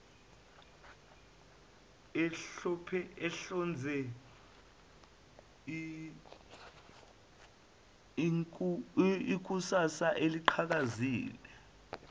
ehlonze ikusasa eliqhakazile